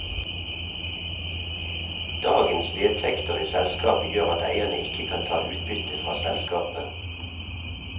Dagens vedtekter i selskapet gjør at eierne ikke kan ta utbytte fra selskapet.